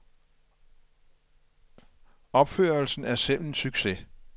Opførelsen er selv en succes.